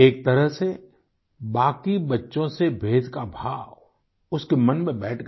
एक तरह से बाकी बच्चों से भेद का भाव उसके मन में बैठ गया